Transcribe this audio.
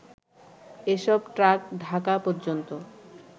এসব ট্রাক ঢাকা পর্যন্ত